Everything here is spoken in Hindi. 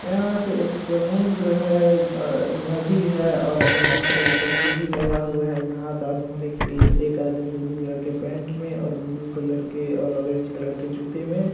यहाँ पे एक समुद्र है नदी है नदी के ऊपर एक सीढ़ी लगा हुआ है जहाँ तर्द होने के लिए एक आदमी ब्लू कलर के पेन्ट में और ब्लू कलर और ऑरेंज कलर के जूते में --